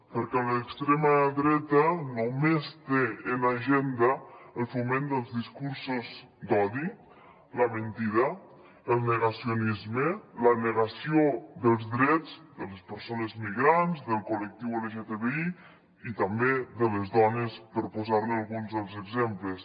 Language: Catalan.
perquè l’extrema dreta només té en agenda el foment dels discursos d’odi la mentida el negacionisme la negació dels drets de les persones migrants del collectiu lgtbi i també de les dones per posar ne alguns exemples